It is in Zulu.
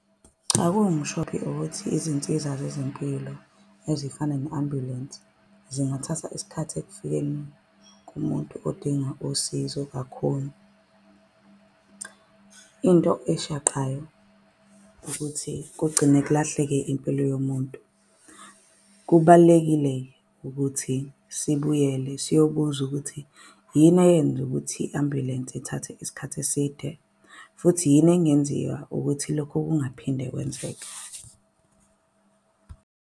Cha kuwumshophi ukuthi izinsiza zezempilo ezifana ne-ambulensi zingathatha isikhathi ekufikeni kumuntu odinga usizo kakhulu. Into eshaqayo ukuthi kugcine kulahleke impilo yomuntu. Kubalulekile-ke ukuthi sibuyele siyobuza ukuthi yini eyenza ukuthi i-ambulensi ithathe isikhathi eside. Futhi yini engenziwa ukuthi lokho kungaphinde kwenzeke.